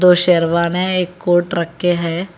और शेरवानी एक कोट रखे है।